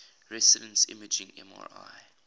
resonance imaging mri